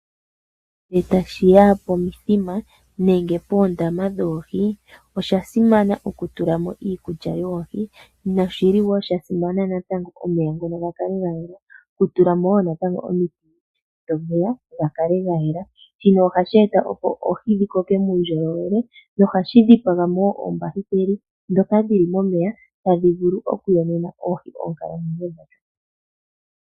Nge tashiya pomithima nenge poondama dhoohi, oshasimana okutulamo iikulya yoohi. Noshili woo shasimana natango omeya ngono gakale gayela, nokutulamo natango woo omiti dhomeya gakale gayela. Shino ohasheeta opo oohi dhikoke nuundjolowele no hashidhipagamo oombakiteli dhoka dhili momeya tadhi vulu okuyonena oohi oonkalamwenyo dhawo.